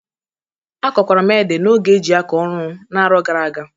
Akọkwara m ede n'oge e jị akọ ọrụ n'aro gara aga.